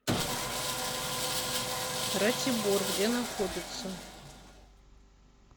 ратибор где находится